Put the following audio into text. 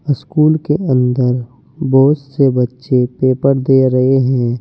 School के अंदर बहुत से बच्चे पेपर दे रहे हैं।